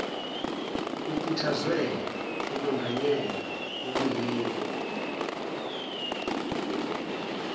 kukhuthazwe ukwengayelwa okuyikho